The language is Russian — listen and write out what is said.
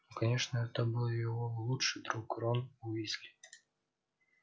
ну конечно это был его лучший друг рон уизли